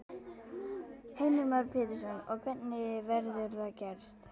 Heimir Már Pétursson: Og hvernig verður það gerst?